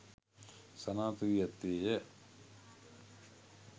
සනාථ වී ඇත්තේය.